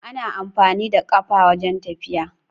Ana amfani da ƙafa wajan tafiya